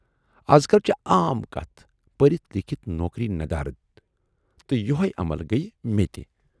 ازکل چھِ عام کتَھ پٔرِتھ لیٖکھِتھ نوکری ندارد تہٕ یِہےَ عمل گٔیہِ مےٚ تہِ۔